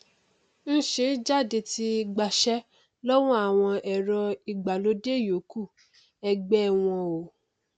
ń ṣe jáde ti gbaṣẹ lọwọ àwọn ẹrọ ìgbàlódé ìyókù ẹgbẹ ẹ wọn o